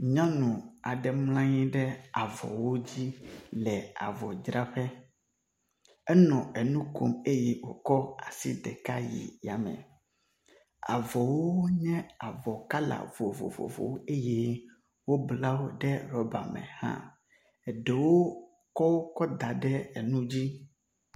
Nyɔnu aɖe mlɔ anyi ɖe avɔwo dzi le avɔdzraƒe. enɔ enu kom eye wokɔ asi ɖeka yi yame. Avɔwo nye avɔ kala vovovowo eye wobla wo ɖe ɖɔba me hã. Eɖewo kɔwoƒe ga ɖe enu dzi.